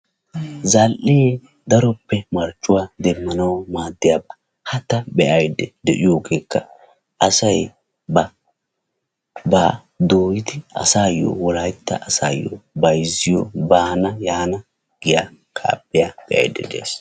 Zal''ee daroppe marccuwaa demanaw maadiyaaba. ha taan ide'aydda diyoogekka asay ba baa wolaytta asayo doyidi baana yaana giya kaafiyaa be'aydda dayis'